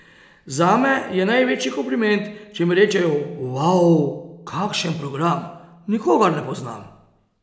Zame je največji kompliment, če mi rečejo, uau, kakšen program, nikogar ne poznam.